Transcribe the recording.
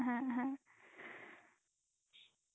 হ্যাঁ হ্যাঁ